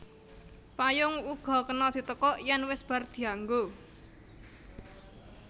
Payung uga kena ditekuk yèn wis bar dianggo